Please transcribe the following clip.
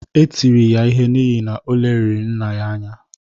Etiri ya ihe n’ihi, o leliri nna ya anya